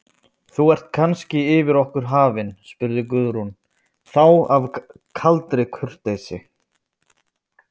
Þú ert kannski yfir okkur hafin, spurði Guðrún þá af kaldri kurteisi.